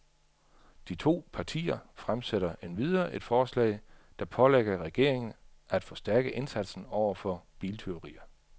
De to partier fremsætter endvidere et forslag, der pålægger regeringen af forstærke indsatsen over for biltyverier.